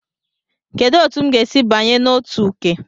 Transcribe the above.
Kedu otu m ga-esi banye na otu Uke?